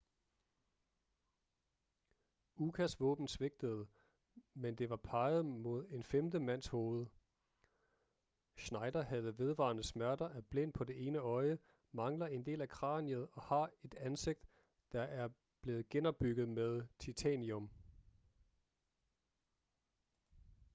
ukas våben svigtede mens det var peget mod en femte mands hoved schneider har vedvarende smerter er blind på det ene øje mangler en del af kraniet og har et ansigt der er blevet genopbygget med titanium